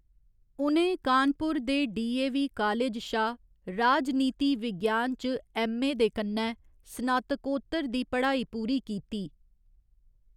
उ'नें कानपुर दे DAV college शा राजनीति विज्ञान च ऐम्मए दे कन्नै स्नातकोत्तर दी पढ़ाई पूरी कीती।